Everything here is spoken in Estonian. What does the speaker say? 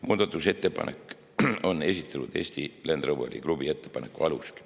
Muudatusettepanek on esitatud Eesti Land Roveri Klubi ettepaneku alusel.